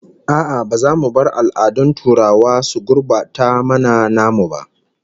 A'a, ba za mu bar al'adun turawa su gurbata mana namu ba